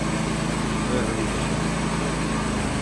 To je velika šola.